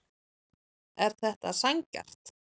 Er þetta sanngjarnt